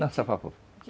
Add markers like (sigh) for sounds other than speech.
Dança (unintelligible)